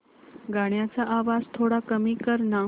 गाण्याचा आवाज थोडा कमी कर ना